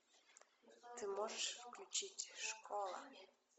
ты можешь включить школа